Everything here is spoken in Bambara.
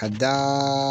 Ka da